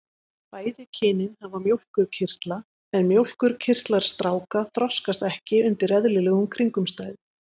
Bæði kynin hafa mjólkurkirtla en mjólkurkirtlar stráka þroskast ekki undir eðlilegum kringumstæðum.